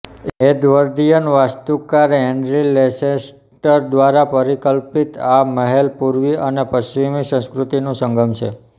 Edwardian વાસ્તુકાર Henry Lanchester દ્વારા પરિકલ્પિત આ મહેઅલ પૂર્વી અને પશ્ચિમી સંસ્કૃતિનું સંગમ છે